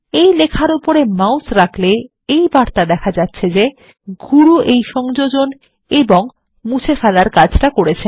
এই লেখার উপরে মাউস রাখলে এই বার্তা দেখা যাচ্ছে যে গুরু এই সংযোজন ও মুছে ফেলার কাজ করেছেন